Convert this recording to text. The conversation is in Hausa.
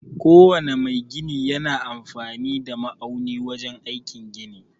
Ko wane mai gini yana amfani da ma'auni wajen aikin gini